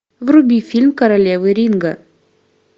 вруби фильм королевы ринга